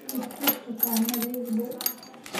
i tus dukaamada ii dhow